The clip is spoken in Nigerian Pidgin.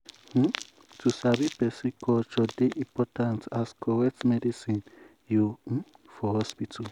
um to sabi person culture dey important as correct medicine you um for hospital.